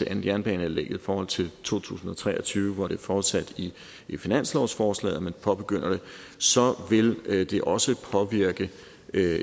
jernbaneanlægget i forhold til to tusind og tre og tyve hvor det er forudsat i finanslovsforslaget at man påbegynder det vil det også påvirke